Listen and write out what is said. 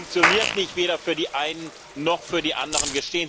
Sie funktioniert nicht weder für die einen noch für die anderen.